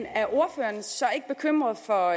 er ordføreren så ikke bekymret for